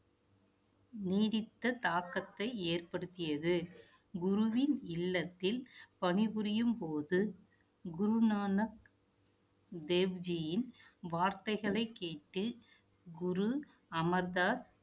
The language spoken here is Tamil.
நீடித்த தாக்கத்தை ஏற்படுத்தியது குருவின் இல்லத்தில் பணிபுரியும் போது, குருநானக் தேவ்ஜியின் வார்த்தைகளை கேட்டு குரு அமிர்தா